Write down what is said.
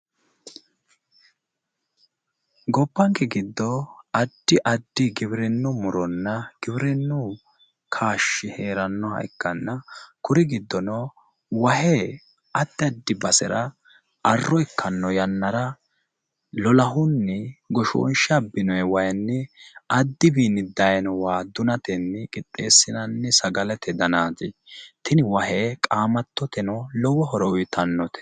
Gobbanke giddo addi addi giwirinnu muronna giwirinnu kaashshi heerannoha ikkanna kuri giddono wahe addi addi basera arro ikkanno yannara lolahunni goshoonshe abbinoyi wayinni addiwiinni dayino waa dunatenni qixxeessinanni sagalete danaati. Tini wahe qaamattoteno lowo horo uyitannote.